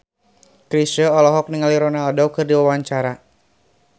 Chrisye olohok ningali Ronaldo keur diwawancara